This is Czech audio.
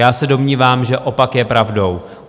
Já se domnívám, že opak je pravdou.